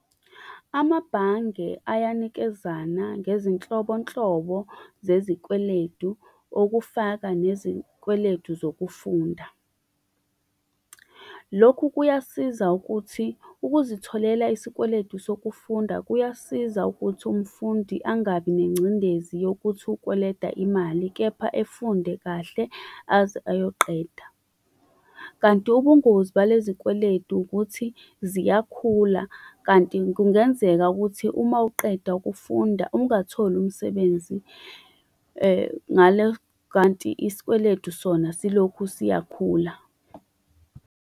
Amabhange ayanikezana ngezinhlobonhlobo zezikweletu, okufaka nezikweletu zokufunda. Lokhu kuyasiza ukuthi, ukuzitholela isikweletu sokufunda kuyasiza ukuthi umfundi angabi nengcindezi yokuthi ukweleta imali, kepha efunde kahle aze ayoqeda. Kanti ubungozi bale zikweletu ukuthi ziyakhula, kanti kungenzeka ukuthi uma uqeda ukufunda ungatholi umsebenzi, kanti isikweletu sona siloku siyakhula.